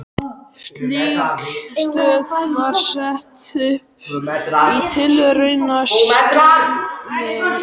Slík stöð var sett upp í tilraunaskyni í